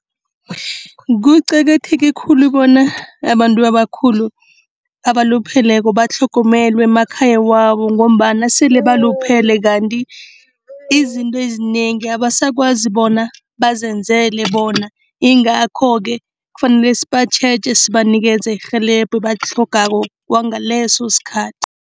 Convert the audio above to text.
Kuqakatheke khulu bona abantu abakhulu, abalupheleko batlhogomelwe emakhaya wabo ngombana sele baluphele kanti izinto ezinengi abasakwazi bona bazenzele bona, yingakho-ke kufanele sibatjheje sibanikeze irhelebho ebalitlhogako kwangaleso sikhathi.